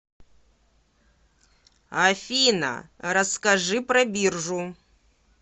афина расскажи про биржу